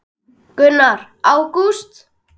Gunnar: Ágúst?